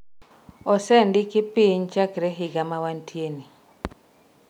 osendiki piny chakre higa ma wantie ni